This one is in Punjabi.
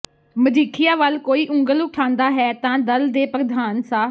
ਮਜੀਠੀਆ ਵਲ ਕੋਈ ਉਂਗਲ ਉਠਾਂਦਾ ਹੈ ਤਾਂ ਦਲ ਦੇ ਪ੍ਰਧਾਨ ਸ